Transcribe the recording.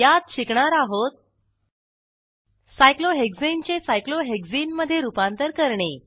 यात शिकणार आहोत सायक्लोहेक्साने चे सायक्लोहेक्सने मधे रूपांतर करणे